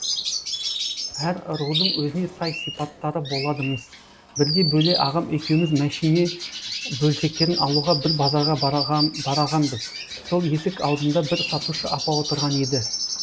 әр рудың өзіне сай сипаттары болады мыс бірде бөле ағам екеуіміз мәшіне бөлшектерін алуға бір базарға барағанбыз сол есік алдында бір сатушы апа отырған еді